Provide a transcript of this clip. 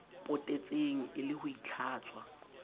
potetseng e le ho itlhatswa